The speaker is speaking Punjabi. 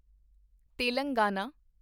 ਤੇਲੰਗਾਨਾ